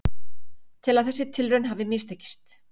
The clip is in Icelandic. Tel að þessi tilraun hafi mistekist